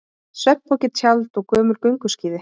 Svefnpoki, tjald og gömul gönguskíði.